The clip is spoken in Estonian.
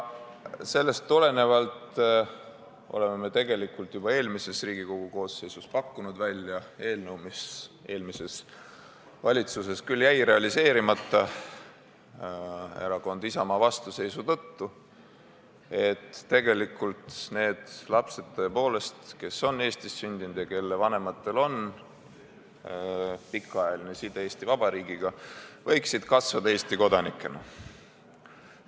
Sellest tulenevalt me tegelikult juba eelmises Riigikogu koosseisus pakkusime välja eelnõu – mis eelmises valitsuses küll jäi realiseerimata erakonna Isamaa vastuseisu tõttu –, mille järgi need lapsed, kes on Eestis sündinud ja kelle vanematel on pikaajaline side Eesti Vabariigiga, võiksid kasvada Eesti kodanikena.